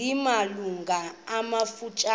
zina malungu amafutshane